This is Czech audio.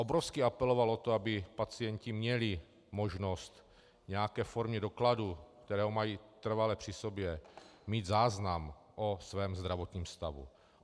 Obrovsky apeloval na to, aby pacienti měli možnost v nějaké formě dokladu, který mají trvale při sobě, mít záznam o svém zdravotním stavu.